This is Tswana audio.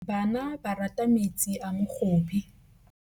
Bana ba rata metsi a mogobe.